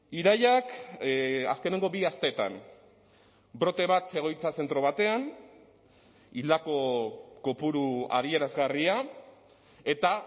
irailak azkeneko bi asteetan brote bat egoitza zentro batean hildako kopuru adierazgarria eta